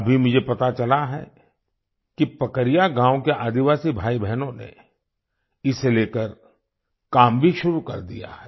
अभी मुझे पता चला है कि पकरिया गाँव के आदिवासी भाईबहनों ने इसे लेकर काम भी शुरू कर दिया है